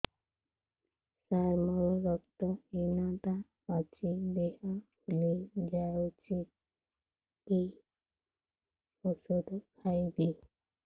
ସାର ମୋର ରକ୍ତ ହିନତା ଅଛି ଦେହ ଫୁଲି ଯାଉଛି କି ଓଷଦ ଖାଇବି